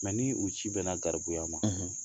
ni u ci bɛna garibuya ma